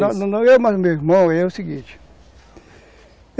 Não, não, eu mais o meu irmão, é o seguinte.